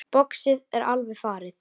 Boxið er alveg farið.